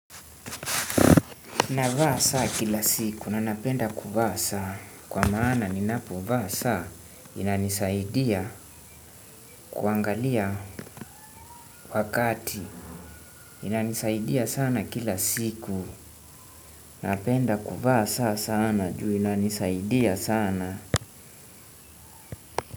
Navaa saa kila siku na napenda kuvaa saa. Kwa maana ni napo vaa saa inanisaidia kuangalia wakati. Inanisaidia sana kila siku. Napenda kuvaa saa sana juu inanisaidia sana.